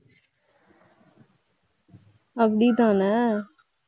அப்படித்தானே